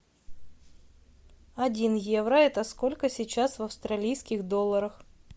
один евро это сколько сейчас в австралийских долларах